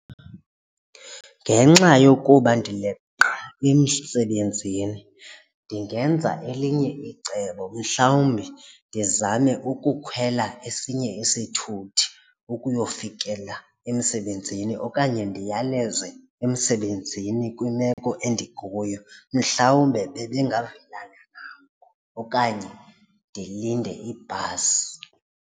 Ngenxa yokuba ndileqa emsebenzini ndingenza elinye icebo mhlawumbi ndizame ukukhwela esinye isithuthi ukuyofikela emsebenzini okanye ndiyaleze emsebenzini kwimeko endikuyo mhlawumbe bebengavelana ngako okanye ndilinde ibhasi.